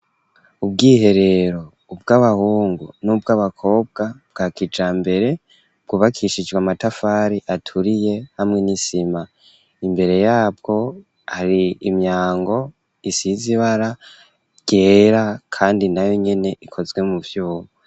Ubwiherero, ubw'abahungu, n'ubw'abakobwa; bwa kijambere; bwubakishijwe, amatafari aturiye, hamwe n'isima; imbere yabwo, hari imyango, isize ibara ryera, kandi nayo nyene, ikozwe mu vyuma.